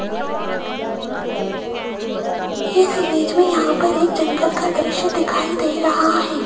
इस इमेज में यहां पर एक जंगल का दृश्य दिखाई दे रहा है।